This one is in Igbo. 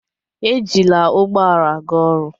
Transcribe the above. Ejila ụgbọ ala ga oru